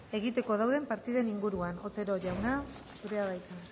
egiteko dauden partiden inguruan otero jauna zurea da hitza